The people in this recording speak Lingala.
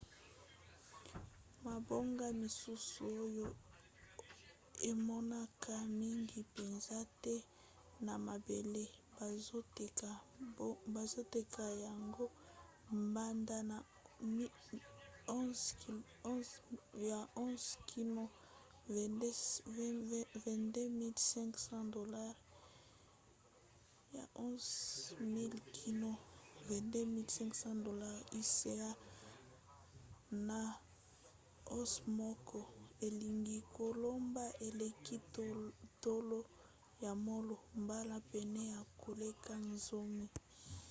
mabanga misusu oyo emonanaka mingi mpenza te na mabele bazoteka yango banda na 11 000 kino 22 500$ us na once moko elingi koloba eleki talo ya wolo mbala pene ya koleka zomi